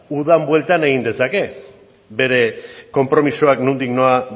udan bueltan egin dezake bere konpromisoak nondik nora